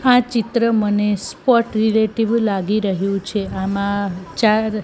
આ ચિત્ર મને સ્પોર્ટ રિલેટિવ લાગી રહ્યું છે આમાં ચાર--